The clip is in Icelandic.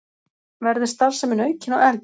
Verður starfsemin aukin og efld